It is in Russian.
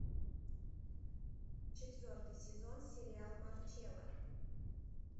четвертый сезон сериал марчелла